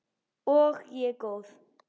Og ég er góð.